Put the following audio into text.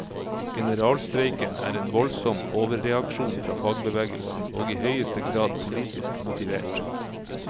Generalstreiken er en voldsom overreaksjon fra fagbevegelsen og i høyeste grad politisk motivert.